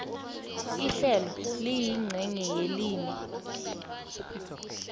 ihlelo liyincenye yelimi